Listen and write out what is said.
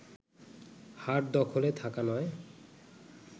হাট দখলে থাকা নয়